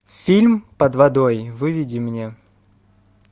фильм под водой выведи мне